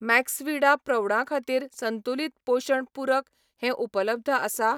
Maxvida प्रौढां खातीर संतुलित पोशण पूरक हें उपलब्ध आसा?